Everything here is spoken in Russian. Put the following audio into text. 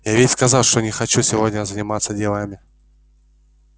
я ведь сказал что не хочу сегодня заниматься делами